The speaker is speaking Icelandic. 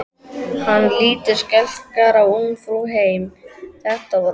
Hann lítur skelkaður á Ungfrú heim, þetta var óvænt!